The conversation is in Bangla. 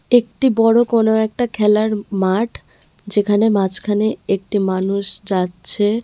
একটি বড়ো কোনো একটা খেলার মা-মাঠ যেখানে মাঝখানে একটি মানুষ যাচ্ছে.